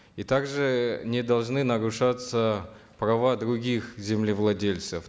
и также не должны нарушаться права других землевладельцев